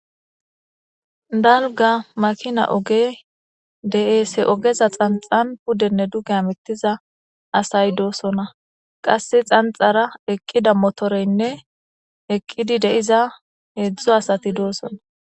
Dalga makina ogey de7ees. hemakina ogeza gaxan pudenne duge hamuttiya asay de7oosona. Qasse xanxxara eqqida motoreynne eqqidi de7iza heedzdzu asay doosona.